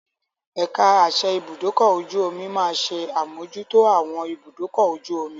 Ẹ̀ka àsẹ ibùdókọ̀-ojú-omi máa ṣe àmójútó àwọn ibùdúkọ̀-ojú omi.